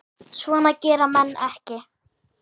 Svona gera menn ekki